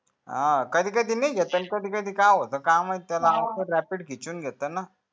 हान कधी कधी नई घेत कधी कधी काय होते काय माहित त्यांला rapid